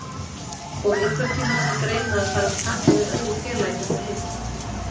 Kom einhvern tíma til greina að fara að taka við öðru félagi hérna heima?